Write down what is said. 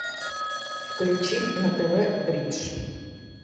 включи на тв бридж